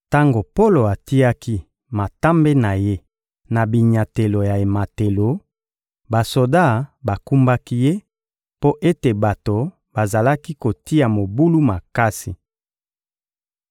Tango Polo atiaki matambe na ye na binyatelo ya ematelo, basoda bakumbaki ye, mpo ete bato bazalaki kotia mobulu makasi.